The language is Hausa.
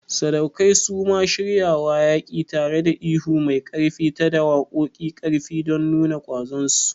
Sadaukai suma shiryawa yaƙi, tareda ihu mai ƙarfi ta da waƙoƙiu ƙarfi don nuna ƙwazon su.